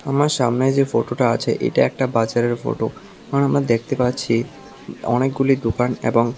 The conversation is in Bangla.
আমার সামনে যে ফটোটা আছে এটা একটা বাজারের ফটো এখন আমরা দেখতে পাচ্ছি অনেকগুলি দোকান এবং--